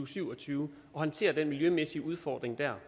syv og tyve og håndtere den miljømæssige udfordring dér